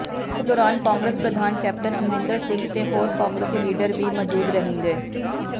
ਇਸ ਦੌਰਾਨ ਕਾਂਗਰਸ ਪ੍ਰਧਾਨ ਕੈਪਟਨ ਅਮਰਿੰਦਰ ਸਿੰਘ ਤੇ ਹੋਰ ਕਾਂਗਰਸੀ ਲੀਡਰ ਵੀ ਮੌਜੂਦ ਰਹਿਣਗੇ